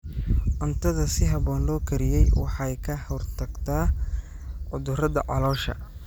Cuntada si habboon loo kariyey waxay ka hortagtaa cudurrada caloosha.